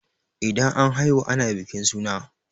Idan an haihu ana bikin suna